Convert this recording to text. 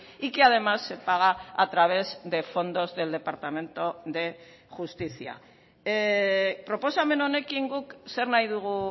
y que además se paga a través de fondos del departamento de justicia proposamen honekin guk zer nahi dugu